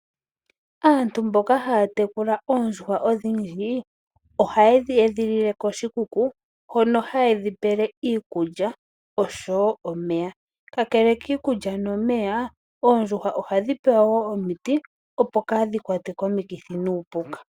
Aantu mboka haya tekula oondjuhwa odhindji ohaye dhi edhilile koshikuku hono haye dhipele iikulya oshowo omeya. Kakele kiikulya nomeya oondjuhwa ohadhi pewa wo omiti opo kaadhi kwatwe komikithi nuupuka.